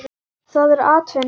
Það er atvinna þeirra.